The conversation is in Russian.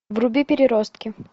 вруби переростки